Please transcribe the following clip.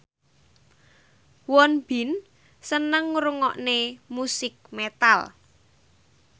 Won Bin seneng ngrungokne musik metal